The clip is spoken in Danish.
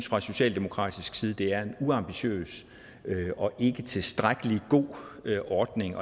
fra socialdemokratisk side det er en uambitiøs og ikke tilstrækkelig god ordning